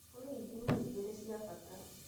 kũrĩ ithimi ĩgĩrĩ cia bata